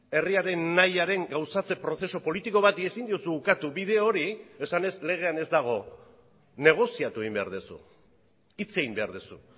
herriaren nahiaren gauzatze prozesu politiko bati ezin diozu ukatu bide hori esanez legean ez dago negoziatu egin behar duzu hitz egin behar duzu